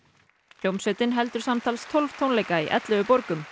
hljómsveitin heldur samtals tólf tónleika í ellefu borgum